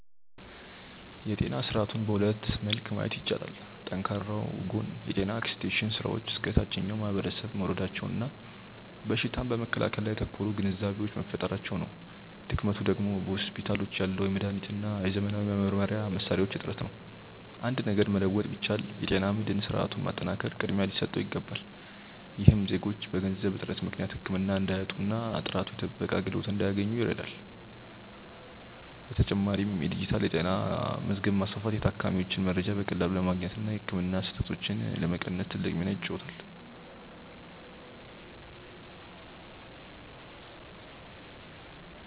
የጤና ስርዓቱን በሁለት መልክ ማየት ይቻላል። ጠንካራው ጎን የጤና ኤክስቴንሽን ስራዎች እስከ ታችኛው ማህበረሰብ መውረዳቸውና በሽታን በመከላከል ላይ ያተኮሩ ግንዛቤዎች መፈጠራቸው ነው። ድክመቱ ደግሞ በሆስፒታሎች ያለው የመድኃኒትና የዘመናዊ መመርመሪያ መሣሪያዎች እጥረት ነው። አንድ ነገር መለወጥ ቢቻል፣ የጤና መድህን ስርዓቱን ማጠናከር ቅድሚያ ሊሰጠው ይገባል። ይህም ዜጎች በገንዘብ እጥረት ምክንያት ህክምና እንዳያጡና ጥራቱ የተጠበቀ አገልግሎት እንዲያገኙ ይረዳል። በተጨማሪም የዲጂታል ጤና መዝገብ ማስፋፋት የታካሚዎችን መረጃ በቀላሉ ለማግኘትና የህክምና ስህተቶችን ለመቀነስ ትልቅ ሚና ይጫወታል።